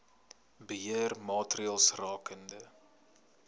beheer maatreëls rakende